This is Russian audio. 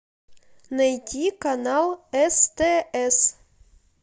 найти канал стс